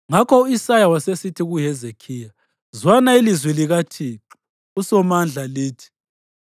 Ngakho u-Isaya wasesithi kuHezekhiya, “Zwana ilizwi likaThixo uSomandla lithi: